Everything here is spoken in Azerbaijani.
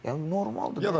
Yəni normaldır da.